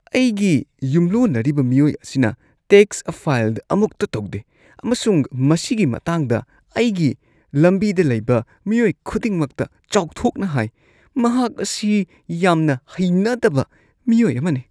ꯑꯩꯒꯤ ꯌꯨꯝꯂꯣꯟꯅꯔꯤꯕ ꯃꯤꯑꯣꯏ ꯑꯁꯤꯅ ꯇꯦꯛ꯭ꯁ ꯐꯥꯏꯜ ꯑꯃꯨꯛꯇ ꯇꯧꯗꯦ ꯑꯃꯁꯨꯡ ꯃꯁꯤꯒꯤ ꯃꯇꯥꯡꯗ ꯑꯩꯒꯤ ꯂꯝꯕꯤꯗ ꯂꯩꯕ ꯃꯤꯑꯣꯏ ꯈꯨꯗꯤꯡꯃꯛꯇ ꯆꯥꯎꯊꯣꯛꯅ ꯍꯥꯏ꯫ ꯃꯍꯥꯛ ꯑꯁꯤ ꯌꯥꯝꯅ ꯍꯩꯅꯗꯕ ꯃꯤꯑꯣꯏ ꯑꯃꯅꯤ꯫